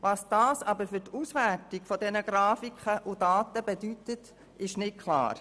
Was das aber für die Auswertung der Grafiken und Daten bedeutet, ist unklar.